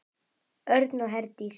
Örn og Herdís.